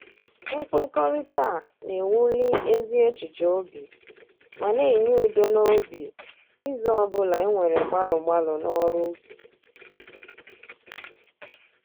Mkwekọrịta a na-ewuli ezi echiche obi ma na-enye udo n'obi izu ọbụla e nwere gbalụ gbalụ n'ọrụ ubi